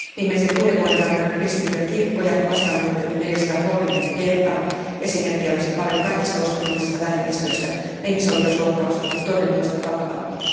Viimeisen kuuden vuoden aikana kristittyjä kirkkoja vastaan on hyökätty 430 kertaa. Esimerkkejä olisi paljon kaikista uskonnollisista vähemmistöistä, ja ihmisoikeusloukkaukset ovat toinen toistaan vakavampia.